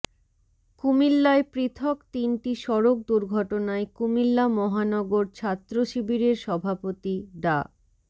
কুমিল্লায় পৃথক তিনটি সড়ক দুর্ঘটনায় কুমিল্লা মহানগর ছাত্রশিবিরের সভাপতি ডা